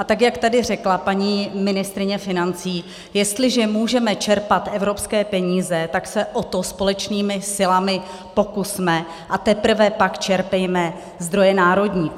A tak jak tady řekla paní ministryně financí, jestliže můžeme čerpat evropské peníze, tak se o to společnými silami pokusme a teprve pak čerpejme zdroje národní.